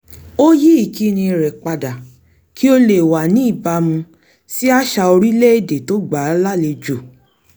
ó yí ìkíni rẹ̀ padà kí ó le wà ní ìbámu sí àṣà orílẹ̀-èdè tó gbàa lálejò